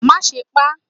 ma sé pá